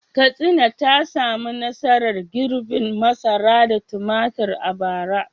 Katsina ta samu nasarar girbin masara da tumatir a bara.